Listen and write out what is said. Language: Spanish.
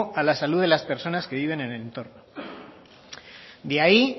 a la salud de las personas que viven en el entorno de ahí